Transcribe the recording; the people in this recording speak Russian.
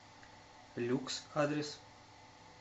люкс адрес